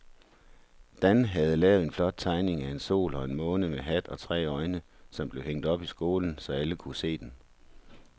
Dan havde lavet en flot tegning af en sol og en måne med hat og tre øjne, som blev hængt op i skolen, så alle kunne se den.